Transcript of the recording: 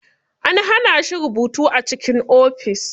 An hana shi rubutu a cikin ofis.